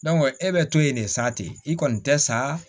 e bɛ to yen de sa ten i kɔni tɛ sa